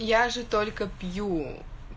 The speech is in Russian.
я же только пью